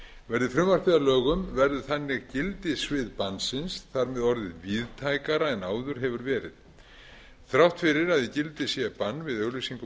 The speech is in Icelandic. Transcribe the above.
verði frumvarpið að lögum verður þannig gildissvið bannsins þar með orðið víðtækara en áður hefur verið þrátt fyrir að í gildi sé bann við auglýsingum á